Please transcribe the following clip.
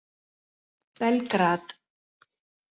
Belgrad